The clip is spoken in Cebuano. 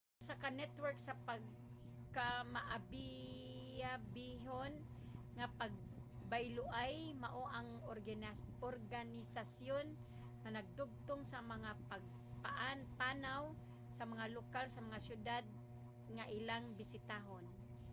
ang usa ka network sa pagkamaabiabihon nga pagbayloay mao ang organisasyon nga nagdugtong sa mga magpapanaw sa mga lokal sa mga siyudad nga ilang bisitahon